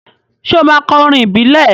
Ṣé ó máa kọ orin ìbílẹ̀?